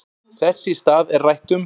Þess í stað er rætt um